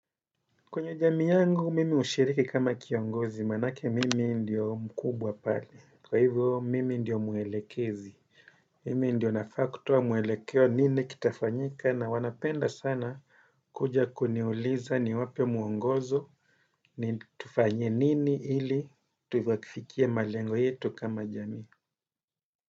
Kwenye jamii yangu mimi ushiriki kama kiongozi manake mimi ndiyo mkubwa pale. Kwa hivyo mimi ndiyo mwelekezi. Mimi ndiyo nafaa kutuwa mwelekeo nini kitafanyika na wanapenda sana kuja kuniuliza niwape mwongozo. Ni tufanye nini ili tuyakifikie malengo yetu kama jamii.